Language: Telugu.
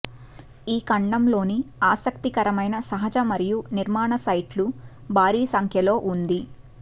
ఈ ఖండంలోని ఆసక్తికరమైన సహజ మరియు నిర్మాణ సైట్లు భారీ సంఖ్యలో ఉంది